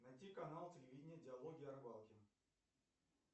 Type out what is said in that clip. найти канал телевидения диалоги о рыбалке